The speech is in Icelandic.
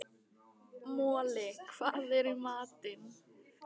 Moli, hvað er í matinn?